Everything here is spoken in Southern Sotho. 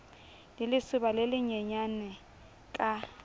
le lesoba le lenyenyane ka